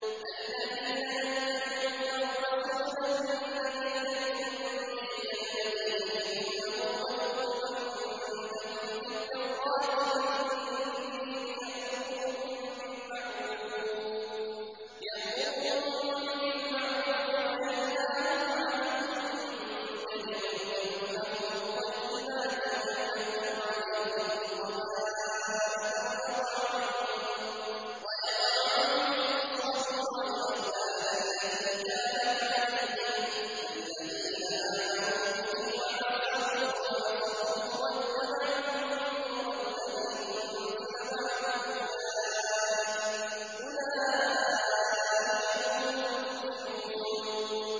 الَّذِينَ يَتَّبِعُونَ الرَّسُولَ النَّبِيَّ الْأُمِّيَّ الَّذِي يَجِدُونَهُ مَكْتُوبًا عِندَهُمْ فِي التَّوْرَاةِ وَالْإِنجِيلِ يَأْمُرُهُم بِالْمَعْرُوفِ وَيَنْهَاهُمْ عَنِ الْمُنكَرِ وَيُحِلُّ لَهُمُ الطَّيِّبَاتِ وَيُحَرِّمُ عَلَيْهِمُ الْخَبَائِثَ وَيَضَعُ عَنْهُمْ إِصْرَهُمْ وَالْأَغْلَالَ الَّتِي كَانَتْ عَلَيْهِمْ ۚ فَالَّذِينَ آمَنُوا بِهِ وَعَزَّرُوهُ وَنَصَرُوهُ وَاتَّبَعُوا النُّورَ الَّذِي أُنزِلَ مَعَهُ ۙ أُولَٰئِكَ هُمُ الْمُفْلِحُونَ